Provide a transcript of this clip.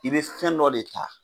I bɛ fɛn dɔ de ta